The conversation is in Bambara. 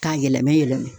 K'a yɛlɛma yɛlɛma